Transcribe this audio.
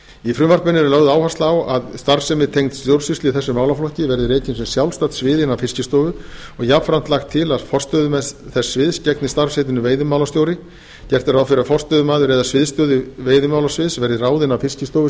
í frumvarpinu er því lögð á það áhersla að starfsemi tengd stjórnsýslu í þessum málaflokki verði rekin sem sjálfstætt svið innan fiskistofu og jafnframt lagt til að forstöðumaður þess sviðs gegni starfsheitinu veiðimálastjóri gert er ráð fyrir að forstöðumaður eða sviðsstjóri veiðimálasviðs verði ráðinn af fiskistofustjóra og